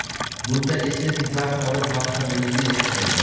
Bunda estetik zavq olib, bahri dilingiz yashnaydi.